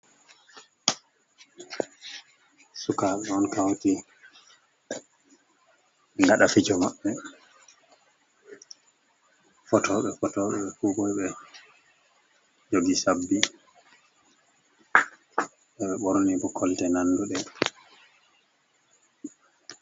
"Sukabe on kauti ngada fijo mabbe fotoɓe fotoɓe kugo ɓe jogi sabbi ɓeɗo ɓorni bo kolte nanduɗe.